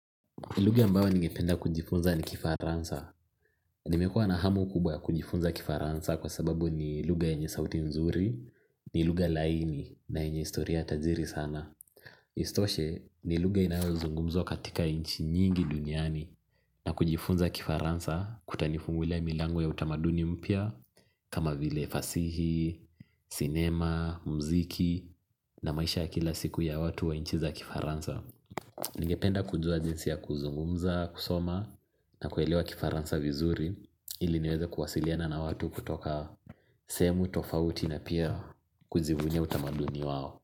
Lugha ambayo ningependa kujifunza ni Kifaransa. Nimekuwa na hamu kubwa ya kujifunza Kifaransa kwa sababu ni lugha yenye sauti nzuri, ni lugha laini na yenye historia tajiri sana. Isitoshe ni lugha inayozungumzwa katika inchi nyingi duniani na kujifunza Kifaransa kutanifungulia milango ya utamaduni mpya kama vile fasihi, sinema, mziki na maisha ya kila siku ya watu wa inchi za Kifaransa. Ningependa kujua jinsi ya kuzungumza kusoma na kuelewa Kifaransa vizuri ili niweze kuwasiliana na watu kutoka sehemu tofauti na pia kujivunia utamaduni wao.